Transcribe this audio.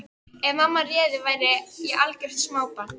Ef mamma réði væri ég algjört smábarn.